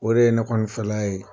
O de ye ne kɔni fɛla ye.